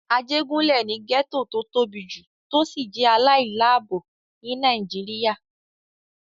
Ajégúnlè ni gẹ́ẹ́tò tó tóbi jù tó sì jẹ́ aláìláàbò ní Nàìjíríyà